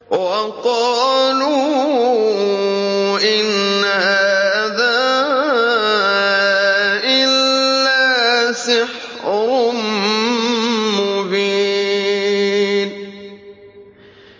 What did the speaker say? وَقَالُوا إِنْ هَٰذَا إِلَّا سِحْرٌ مُّبِينٌ